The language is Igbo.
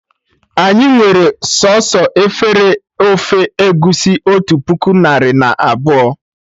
Anyị nwere sọsọ efere ofe egusi otu puku narị na abụọ